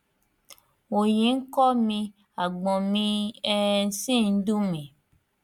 òòyì ń kọ mi àgbọn mi um sì ń dùn mí